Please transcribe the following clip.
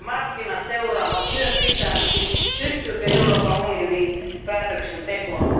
Markkinat seuraavat myös sitä, pystyykö Euroopan unioni päätöksentekoon.